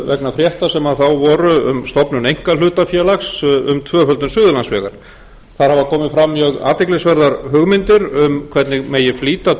vegna frétta sem þá voru um stofnun einkahlutafélags um tvöföldun suðurlandsvegar það hafa komið fram mjög athyglisverðar hugmyndir um hvernig megi flýta